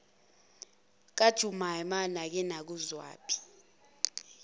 kajumaima nake nakuzwaphi